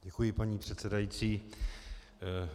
Děkuji, paní předsedající.